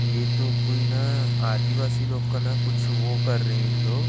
ये तो ना कोई आदिवासी लोग का न कुछ वो कर रहे है ये लोग--